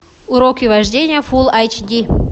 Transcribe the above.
уроки вождения фул айч ди